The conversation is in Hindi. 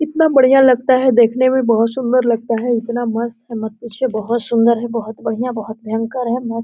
इतना बढियां लगता है देखने में। बहुत सुंदर लगता है। इतना मस्त है। मत पूछिये। बहुत सुंदर है। बहुत बढियां। बहुत भयंकर है।